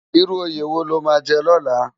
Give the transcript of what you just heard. Irú óyé wó ló má jè lòlá?